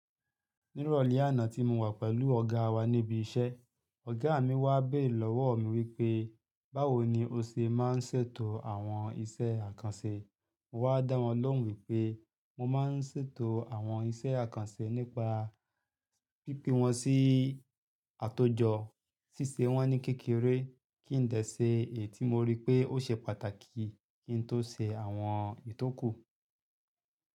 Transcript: Nírọ̀lẹ́ àná tí mo wà pẹ̀lú ọ̀gá wa níbi iṣẹ́, ọ̀gá mi wá béèrè lọ́wọ́ mi wípé, báwo ni o ṣe má ń ṣetò àwọn iṣẹ́ àkànṣe. Mo wá dá wọn lóhùn wípé, mo má ń ṣètò àwọn iṣẹ́ àkànṣe nípa pípin wọn sí àtòjọ, ṣíṣe wọn ní kékeré, kí n dẹ́ ṣe, èyí tí mo rí pé ó ṣe pàtàkì kí n tó ṣe àwọn ìtọ́kù.